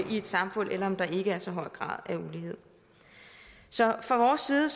i et samfund eller om der ikke er så høj grad af ulighed så fra vores side